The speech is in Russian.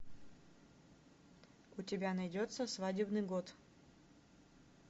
у тебя найдется свадебный год